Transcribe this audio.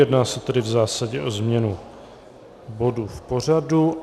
Jedná se tedy v zásadě o změnu bodu v pořadu.